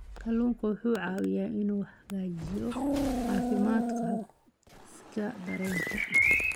Kalluunku wuxuu caawiyaa inuu hagaajiyo caafimaadka habdhiska dareenka.